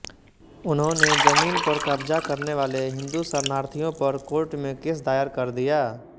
उन्होंने जमीन पर कब्ज़ा करने वाले हिन्दू शरणार्थियों पर कोर्ट में केस दायर कर दिया